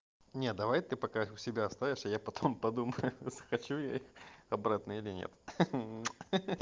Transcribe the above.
нет давай ты пока их у себя оставишь а я потом подумаю ха-ха за хочу я их обратно или нет ха-ха